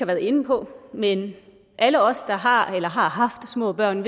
været inde på men alle os der har eller har haft små børn